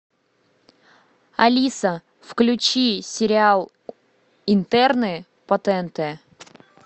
алиса включи сериал интерны по тнт